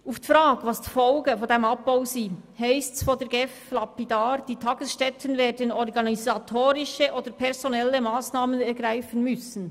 Auf die Frage nach den Folgen dieses Abbaus sagt die GEF lapidar: «Die Tagesstätten werden organisatorische oder personelle Massnahmen ergreifen müssen.